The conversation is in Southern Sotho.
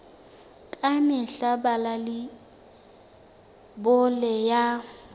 ka mehla bala leibole ya